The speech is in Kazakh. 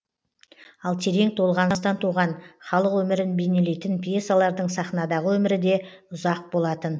ал терең толғаныстан туған халық өмірін бейнелейтін пьесалардың сахнадағы өмірі де ұзақ болатын